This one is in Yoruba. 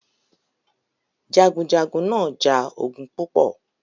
Jagunjagun náà ja ogun púpọ̀